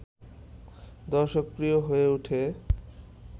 দর্শকপ্রিয় হয়ে ওঠে